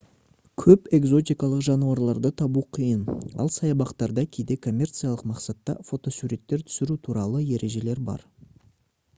көп экзотикалық жануарларды табу қиын ал саябақтарда кейде коммерциялық мақсатта фотосуреттер түсіру туралы ережелер бар